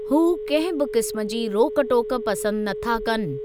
हू कंहिं बि क़िस्म जी रोक टोक पसंदि नथा कनि।